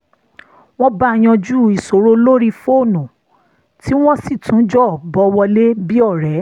wọ́n bá a yanjú ìṣòro lórí fónù tí wọ́n sì tún jọ bọ̀ wọlé bí ọ̀rẹ́